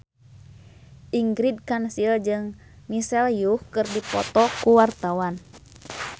Ingrid Kansil jeung Michelle Yeoh keur dipoto ku wartawan